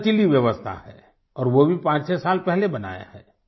बड़ा लचीली व्यवस्था है और वो भी पांचछ साल पहले बनाया है